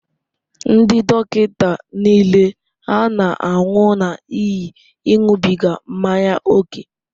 Ndị dọkịta niile hà na-anwụ n'ihi ịṅụbiga mmanya ókè?